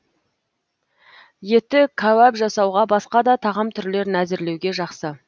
еті кәуап жасауға басқа да тағам түрлерін әзірлеуге жақсы